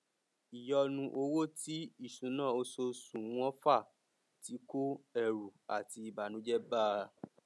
ìyọnu owó ti ìṣúná oṣooṣù wọn fà tí kó ẹrù àti ìbànújẹ bá a